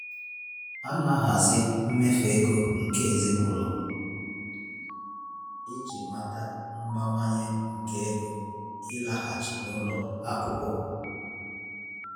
A na-ahazi mmefu ego ezinụlọ iji nabata mbawanye nke ego ịlaghachi n'ụlọ akwụkwọ.